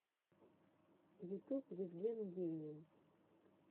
ютюб евген геймин